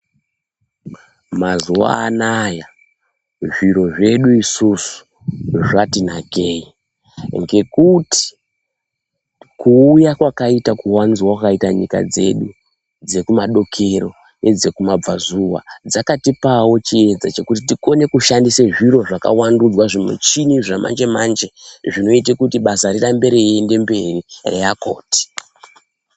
Mazuva anaya zviro zvedu isusu zvatinakei ngekuti kuuya kwakaita kuwanzwa kwakaita nyika dzedu dzekumadokero nedzekumabvazuva dzakatipawo chiedza chekuti tikone kushandisawo zviro zvakavandudzwa zvimichini zvamanje-manje zvinoite kuti basa rirambe reiende mberi reakoti.